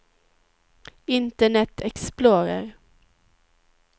internet explorer